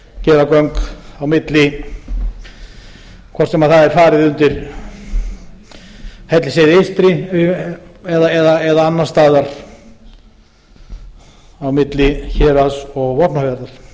gera göng á milli hvort sem það er farið undir hellisheiði eystri eða annars staðar á milli héraðs og vopnafjarðar síðan